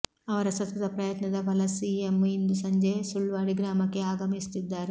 ಅವರ ಸತತ ಪ್ರಯತ್ನದ ಫಲ ಸಿಎಂ ಇಂದು ಸಂಜೆ ಸುಳ್ವಾಡಿ ಗ್ರಾಮಕ್ಕೆ ಆಗಮಿಸುತ್ತಿದ್ದಾರೆ